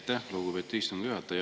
Aitäh, lugupeetud istungi juhataja!